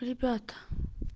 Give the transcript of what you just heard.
ребята